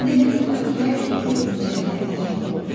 O demək olar ki, hər dəqiqə dincəlməyə məcbur olurdu.